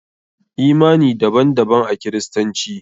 Imani daban daban a kiristanci.